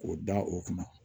K'o da o kunna